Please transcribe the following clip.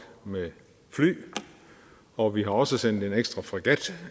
med fly og vi har også sendt en ekstra fregat